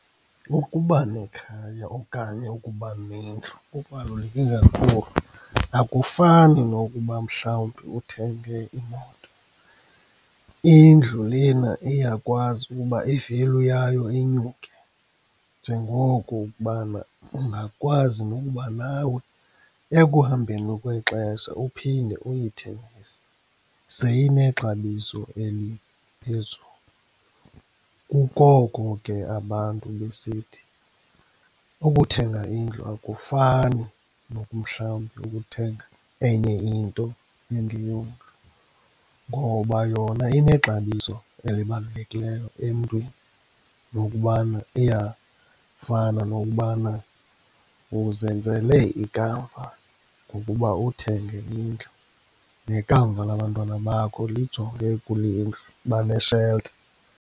Ukuba nekhaya okanye ukuba nendlu kubaluleke kakhulu, akufani nokuba mhlawumbi uthenge imoto. Indlu lena iyakwazi ukuba i-value yayo inyuke, njengoko ukubana ungakwazi nokuba nawe ekuhambeni kwexesha uphinde uyithengise seyinexabiso eliphezulu. Kungoko ke abantu besithi ukuthenga indlu akufani noku mhlawumbi ukuthenga enye into engeyondlu, ngoba yona inexabiso elibalulekileyo emntwini nokubana iyafana nokubana uzenzele ikamva ngokuba uthenge indlu, nekamva labantwana bakho lijonge kule ndlu, bane-shelter.